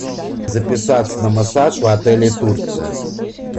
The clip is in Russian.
записаться на массаж в отеле турция